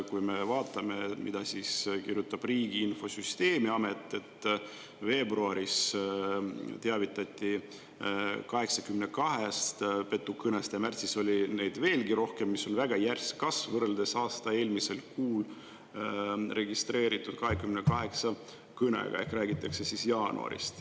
Kui me vaatame, mida kirjutab Riigi Infosüsteemi Amet: veebruaris teavitati 82-st petukõnest ja märtsis oli neid veelgi rohkem, mis on väga järsk kasv võrreldes aasta eelmisel kuul registreeritud 28 kõnega, ehk räägitakse siis jaanuarist.